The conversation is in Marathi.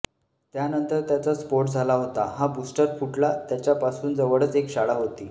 त्यानंतर त्याचा स्फोट झाला होता हा बुस्टर फुटला त्याच्यापासून जवळच एक शाळा होती